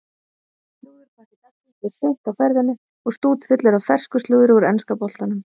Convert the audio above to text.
Slúðurpakki dagsins er seint á ferðinni og stútfullur af fersku slúðri úr enska boltanum.